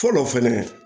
Fɔlɔ fɛnɛ